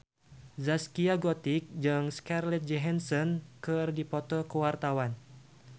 Zaskia Gotik jeung Scarlett Johansson keur dipoto ku wartawan